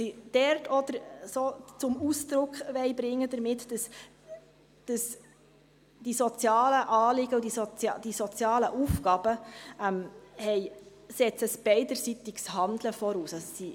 Damit wollen sie zum Ausdruck bringen, dass die sozialen Anliegen und Aufgaben ein beidseitiges Handeln voraussetzen: